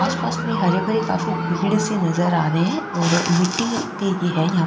आसा पास मे हरे भरे काफी भीड़ सी नजर आ रहे है और मिटटी पे है यहाँ --